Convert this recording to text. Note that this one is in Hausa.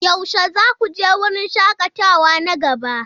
Yaushe za ku je wurin shakatawa na gaba?